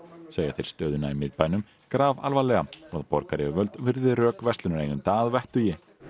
segja þeir stöðuna í miðbænum grafalvarlega og að borgaryfirvöld virði rök verslunareigenda að vettugi